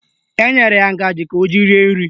Enyere ya ngaji ọ ga-eji rie nri